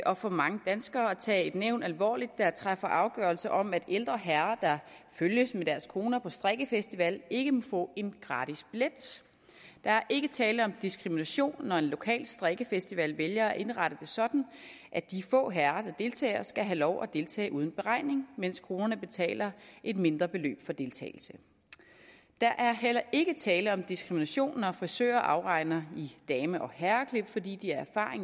og for mange danskere at tage et nævn alvorligt der træffer afgørelse om at ældre herrer der følges med deres koner på strikkefestival ikke må få en gratis billet der er ikke tale om diskrimination når en lokal strikkefestival vælger at indrette det sådan at de få herrer der deltager skal have lov at deltage uden beregning mens konerne betaler et mindre beløb for deltagelse der er heller ikke tale om diskrimination når frisører afregner i dame og herreklip fordi de af